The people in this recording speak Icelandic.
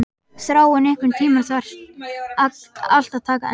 Þráinn, einhvern tímann þarf allt að taka enda.